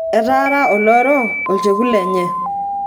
etaara oloro olchekut lenye